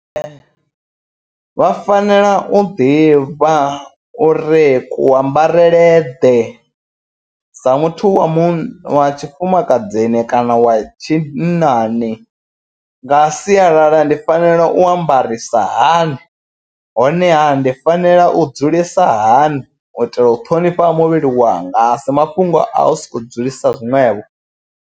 Vha fanela u ḓivha ure ku ambarele ḓe sa muthu wa munna wa tshifumakadzini kana wa tshinnani nga sialala ndi fanela u ambarisa hani. Honeha ndi fanela u dzulisa hani u itela u ṱhonifha muvhili wanga a si mafhungo a u soko dzulisa zwiṅwevho.